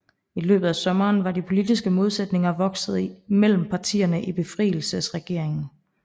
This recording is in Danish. I løbet af sommeren var de politiske modsætninger vokset mellem partierne i befrielsesregeringen